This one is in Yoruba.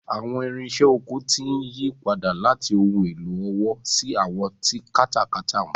Àwọn irinṣẹ́ oko ti ń yí padà láti ohun èlò ọwọ́ sí àwọn tí katakata ń fà.